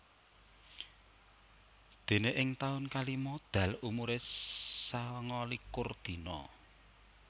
Déné ing taun kalima Dal umuré sangalikur dina